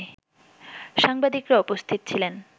সাংবাদিকরা উপস্থিত ছিলেন